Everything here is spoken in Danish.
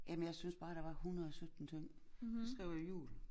Jamen jeg synes bare der var 117 ting så skrev jeg jul